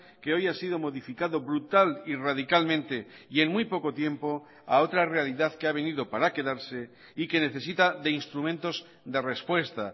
que hoy ha sido modificado brutal y radicalmente y en muy poco tiempo a otra realidad que ha venido para quedarse y que necesita de instrumentos de respuesta